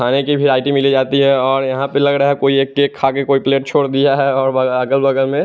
आने की भी आइ_डी मिली जाती है और यहां पे लग रहा है कोई एक केक खाके कोई प्लेट छोड़ दिया है और अगर बगल में--